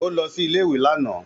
Ó lọ sí ilé ìwé lánàá